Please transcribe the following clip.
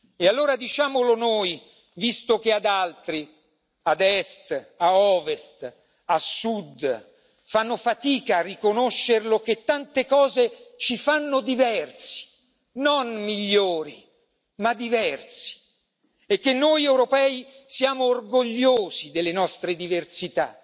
E allora diciamolo noi, visto che ad altri, ad est, a ovest, a sud fanno fatica a riconoscere che tante cose ci fanno diversi, non migliori ma diversi e che noi europei siamo orgogliosi delle nostre diversità.